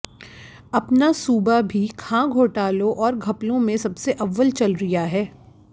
अपना सूबा भी खां घोटालों और घपलों में सबसे अव्वल चल रिया है